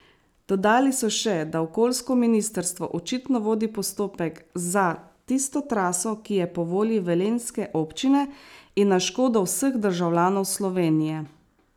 Dodali so še, da okoljsko ministrstvo očitno vodi postopek za tisto traso, ki je po volji velenjske občine in na škodo vseh državljanov Slovenije.